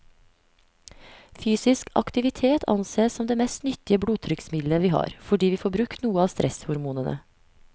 Fysisk aktivitet ansees som det mest nyttige blodtrykksmiddelet vi har, fordi vi får brukt noe av stresshormonene.